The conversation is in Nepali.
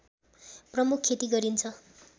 प्रमुख खेती गरिन्छ